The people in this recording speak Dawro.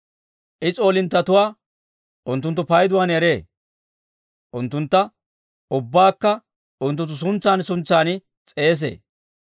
I s'oolinttetuwaa unttunttu payduwaan eree; unttuntta ubbaakka unttunttu suntsan suntsan s'eesee.